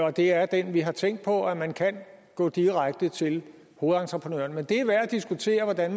og det er den vi har tænkt på hvor man kan gå direkte til hovedentreprenøren men det er bestemt værd at diskutere hvordan